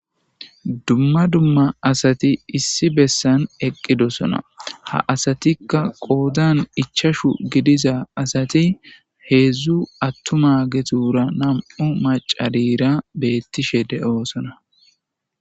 dumma dumma asati issi bessan eqqidosona ha asatikka qoodan ichashu gidiza asati heedzdzu attuma getura nam7u macarira beettishe de7oosona